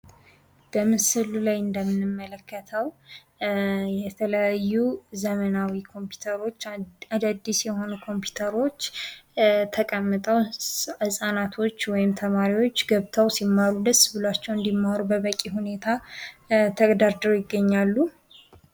በምስሉ ላይ እንደምንመለከተው የተለያዩ ዘመናዊ የሆኑ አዳዲስ ኮምፒውተሮች ተቀምጠው ህጻናቶች ወይም ልጆች ደስ ብሏቸው እንዲማሩ በበቂ ሁኔታ ተደርድረው ይታያሉ።